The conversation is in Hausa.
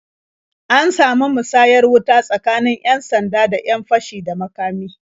An samu musayar wuta tsakanin 'yan-sanda da 'yan fashi da makami.